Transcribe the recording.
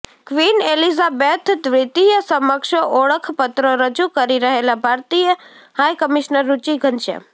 queen Elizabeth દ્વિતીય સમક્ષ ઓળખપત્રો રજૂ કરી રહેલાં ભારતીય હાઈ કમિશનર રુચિ ઘનશ્યામ